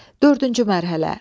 Dördüncü mərhələ.